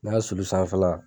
Ne ka sulu sanfɛla